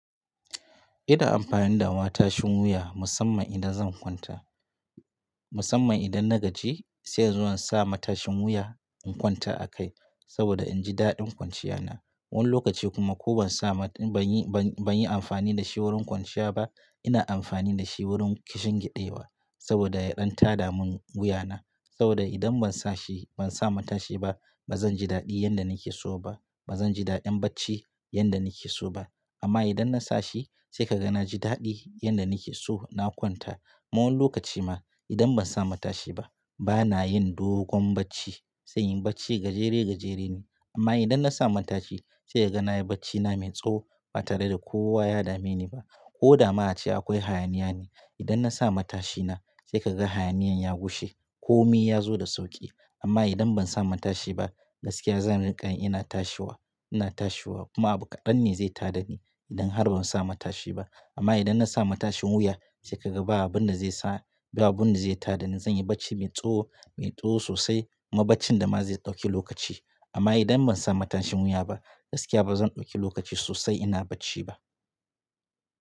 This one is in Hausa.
Ina amfani da matashin wuya musamman idan zan kwanta. Musamman idan na gaji sai in zo in na sa matashin wuya in kwanta a kai saboda inji daɗin kwanciya na. Wani lokaci kuma ko ban sa ba ban yi amfani da shi wurin kwanciya ba ina amfani da shi wurin kishin kiɗewa saboda ya ɗan tada mun wuya na. Saboda idan ban sa shi ban sa matashi ba bazan ji daɗi yanda nake so ba bazan ji daɗin bacci yanda nake so ba. Amma idan na sa shi sai ka ga na ji daɗi yanda nake so na kwanta. Ma wani lokaci ma idan ban sa matashi ba bana yin dogon bacci sai yin bacci gajere gajere ne. Amma idan na sa matashi sai ka ga na yi bacci na mai tsaho ba tare da kowa ya dame ni ba. Ko da ma a ce akwai hayaniya ne idan na sa matashina sai ka ga hayaniyan ya gushe ko mi ya zo da sauƙi. Amma idan ban sa matashi ba gaskiya zan riƙa yi ina tashiwa ina tashiwa kuma abun ƙadan ne zai tada ni idan har ban sa matashi ba. Amma idan na sa matashin wuya sai ka ga ba abin da zai sa ba abin da zai tada ni zan yi bacci mai tsaho mai tsaho sosai kuma bacci da ma zai ɗauki lokaci. Amma idan ban sa matashin wuya ba gaskiya ba zan ɗauki lokaci sosai ina bacci ba.